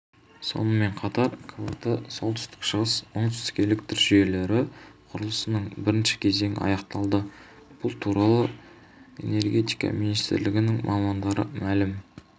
сонымен қатар квт солтүстік-шығыс-оңтүстік электр желілері құрылысының бірінші кезеңі аяқталды бұл туралы энергетика министрлігінің мамандары мәлім